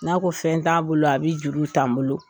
N'a ko fɛn t'a bolo a bɛ juru t'a n bolo.